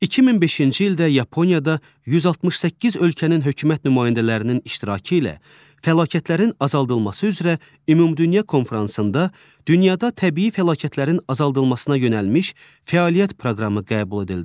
2005-ci ildə Yaponiyada 168 ölkənin hökumət nümayəndələrinin iştirakı ilə fəlakətlərin azaldılması üzrə Ümumdünya konfransında dünyada təbii fəlakətlərin azaldılmasına yönəlmiş fəaliyyət proqramı qəbul edildi.